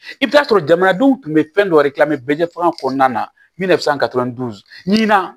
I bɛ taa sɔrɔ jamanadenw tun bɛ fɛn dɔ de dilan mɛ bɛɛ ɲɛ faga kɔnɔna na